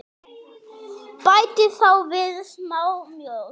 Bætið þá við smá mjólk.